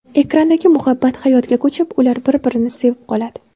Ekrandagi muhabbat hayotga ko‘chib, ular bir-birini sevib qoladi.